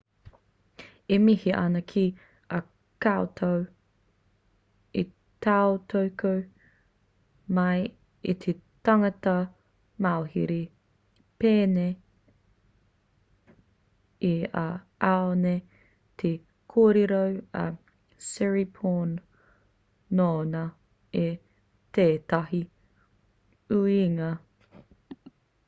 e mihi ana ki a koutou i tautoko mai i te tangata mauhere pēnei i a au nei te kōrero a siriporn nōnā i tētahi uiuinga